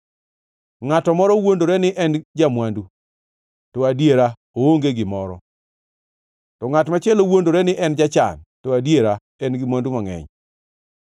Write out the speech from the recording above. Ngʼat moro wuondore ni en ja-mwandu, to adiera oonge gimoro; to ngʼat machielo wuondore ni en jachan, to adiera en gi mwandu mangʼeny.